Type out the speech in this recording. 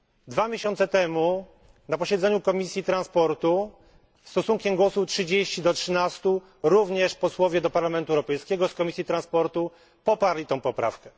Dwa miesiące temu na posiedzeniu Komisji Transportu stosunkiem głosów 30 do 13 również posłowie do Parlamentu Europejskiego z Komisji Transportu poparli tę poprawkę.